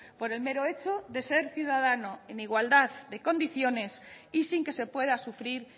por el mero hecho de ser ciudadano en igualdad de condiciones y sin que se pueda sufrir